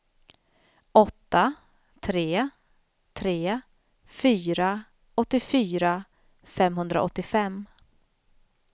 åtta tre tre fyra åttiofyra femhundraåttiofem